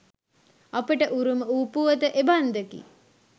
අපට උරුම වූ පුවත එබන්දකි.